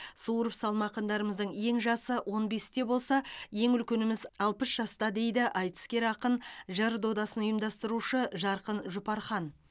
суырып салма ақындарымыздың ең жасы он бесте болса ең үлкеніміз алпыс жаста дейді айтыскер ақын жыр додасын ұйымдастырушы жарқын жұпархан